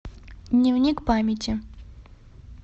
дневник памяти